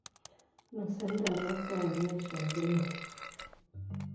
nosa endaa too saai naaishaakino